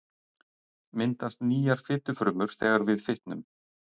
Myndast nýjar fitufrumur þegar við fitnum?